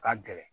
Ka gɛlɛn